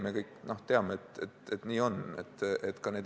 Me kõik teame, et nii on.